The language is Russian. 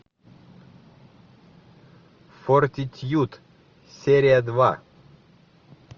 фортитьюд серия два